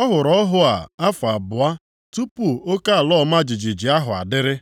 Ọ hụrụ ọhụ a afọ abụọ tupu oke ala ọma jijiji ahụ adịrị.